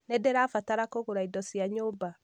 Nĩndĩrabatara kũgũra indo cia nyũmba